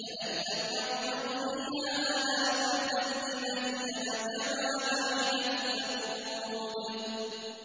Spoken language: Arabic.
كَأَن لَّمْ يَغْنَوْا فِيهَا ۗ أَلَا بُعْدًا لِّمَدْيَنَ كَمَا بَعِدَتْ ثَمُودُ